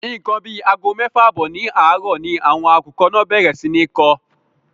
Ńkan àbí àgọ méfà àbọ́ ní àárò ni àwọn akùkọ́ náà bèrè sí ní nkó.